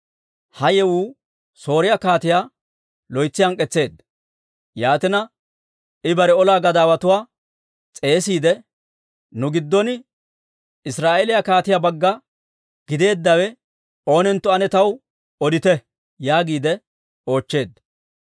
Ha yewuu Sooriyaa kaatiyaa loytsi hank'k'etseedda; yaatina I bare olaa gadaawatuwaa s'eesiide, «Nu giddon Israa'eeliyaa kaatiyaa bagga gideeddawe oonentto ane taw odite» yaagiide oochcheedda.